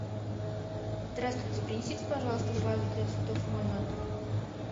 здравствуйте принесите пожалуйста вазу для цветов в мой номер